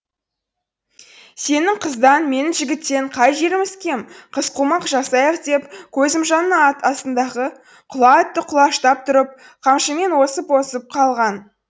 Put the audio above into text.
сенің қыздан менің жігіттен қай жеріміз кем қызқумақ жасайық деп көзімжанның астындағы құла атты құлаштап тұрып қамшымен осып осып қалған